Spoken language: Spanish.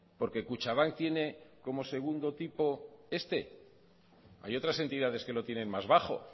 porque kutxabank tiene como segundo tipo este hay otras entidades que lo tienen más bajo o